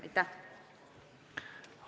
Aitäh!